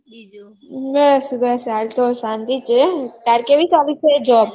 બસ બસ હાલ તો શાંતિ છે તાર કેવી ચાલી છે job